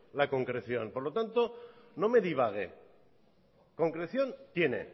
la concreción por lo tanto no me divague concreción tiene